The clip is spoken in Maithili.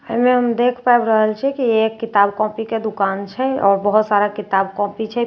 एहि मे हम देख पाबि रहल छिए की ये एक किताब कॉपी के दुकान छै आओर बहुत सारा किताब कॉपी छै। पेन सभ टाँगल